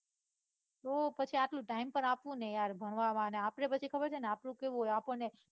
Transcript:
તો પછી આટલું time પાર આપવુંને ને યાર પછી આપડે ખબર છે ને હોય આપડું કેવું હોઈ આપણને